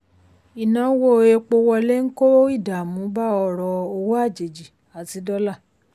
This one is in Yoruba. ìnáwó epo wọlé ń kó ìdààmú bá ọrọ̀ owó àjèjì àti dọ́là.